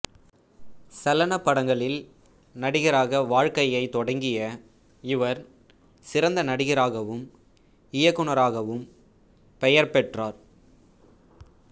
சலனப் படங்களில் நடிகராக வாழ்க்கையைத் தொடங்கிய இவர் சிறந்த நடிகராகவும் இயக்குனராகவும் பெயர் பெற்றார்